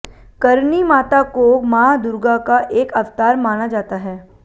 करणी माता को मां दुर्गा का एक अवतार माना जाता है